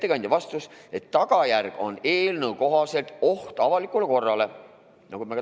Ettekandja vastas, et tagajärg on eelnõu kohaselt oht avalikule korrale.